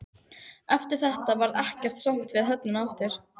Eftir þetta varð ekkert samt við höfnina aftur.